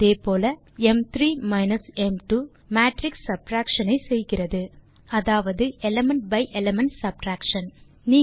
அதே போல ம்3 மைனஸ் ம்2 மேட்ரிக்ஸ் சப்ட்ராக்ஷன் ஐ செய்கிறது அதாவது எலிமெண்ட் பை எலிமெண்ட் சப்ட்ராக்ஷன்